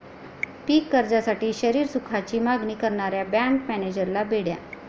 पीक कर्जासाठी शरीरसुखाची मागणी करणाऱ्या बँक मॅनेजरला बेड्या